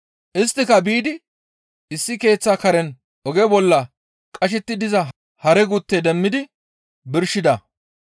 Isttika biidi issi keeththa karen oge bolla qashetti diza hare gutte demmidi birshida.